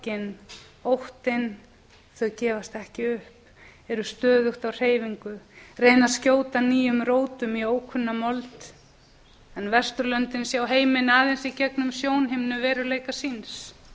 sorgin óttinn þau gefast ekki upp eru stöðugt á hreyfingu reyna að skjóta á á erum rótum í ókunna mold en vesturlöndin sjá heiminn aðeins í gegnum sjónhimnu veruleika síns